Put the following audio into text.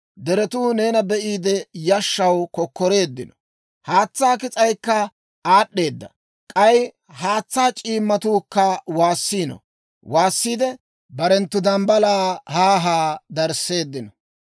Deretuu neena be'iide, yashshaw kokkoreeddino; haatsaa kis'aykka aad'd'eedda. K'ay haatsaa c'iimmatuukka waassiino; waassiidde barenttu dambbalaa haa haa darisseeddino.